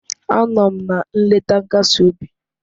Anọ m na nleta nkasi obi.